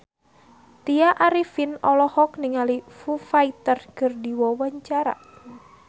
Tya Arifin olohok ningali Foo Fighter keur diwawancara